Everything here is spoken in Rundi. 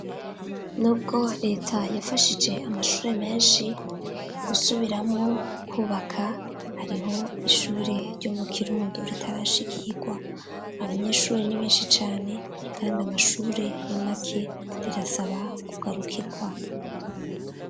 Nubwo Leta yafashije amashure menshi gusubiramwo kwubaka, hariho ishure ryo mu Kirundo ritarashikirwa ,abanyeshuri ni benshi cane kand'amashure ni make, rirasaba kugarukirwa.